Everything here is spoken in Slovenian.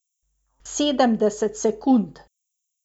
Sedemdeset sekund.